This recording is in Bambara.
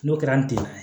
N'o kɛra an tɛ